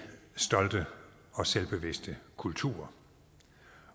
stolte og selvbevidste kulturer